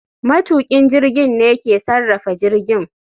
Matukin jirgin ne ke sarrafa jirgin